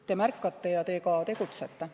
Te märkate ja te tegutsete.